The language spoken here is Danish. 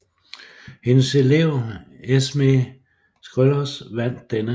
Hendes elev Esmée Schreurs vandt denne sæson